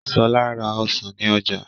Ṣọ́la ra Ọsàn ní Oja